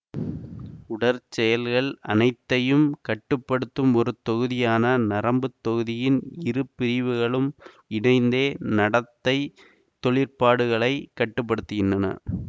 உடற்செயல்கள் அனைத்தையும் கட்டு படுத்தும் ஒரு தொகுதியான நரம்புத் தொகுதியின் இரு பிரிவுகளும் இணைந்தே நடத்தை தொழிற்பாடுகளைக் கட்டுப்படுத்துகின்றன